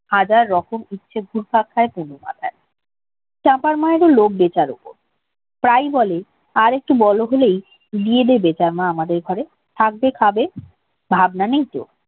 হাজার রকম ইচ্ছে ঘুরপাক খায় কুমুর মাথায় চাপার মায়ের ও লোভ বেতার উপর প্রায়ই বলে আরেকটু বড়লোক হলেই বিয়ে দেবে তার মা আমাদের ঘরের থাকবে খাবে ভাবনা নেই তো